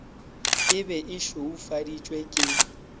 e be e šweufaditšwe ke